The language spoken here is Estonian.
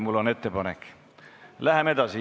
Mul on ettepanek, et läheme edasi.